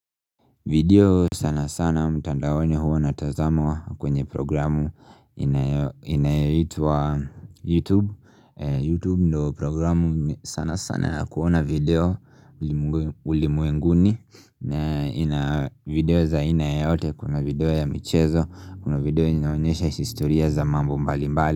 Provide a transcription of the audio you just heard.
Video sana sana mtandaoni huwa natazama kwenye programu inayeitwa YouTube YouTube ndo programu sana sana ya kuona video ulimwenguni na ina video za aina yote kuna video ya michezo Kuna video inaonyesha istoria za mambo mbali mbali.